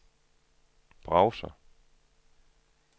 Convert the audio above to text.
browser